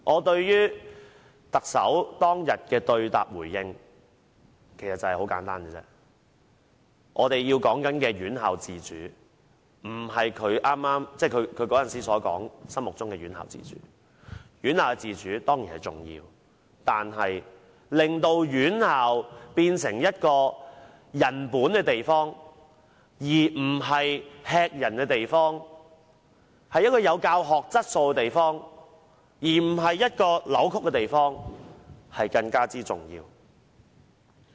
對於特首當天的對答回應，我認為我們說的院校自主不是她當時說的院校自主，院校自主當然重要，但令院校變成人本而不是駭人的地方，有教學質素而不是扭曲的地方更為重要。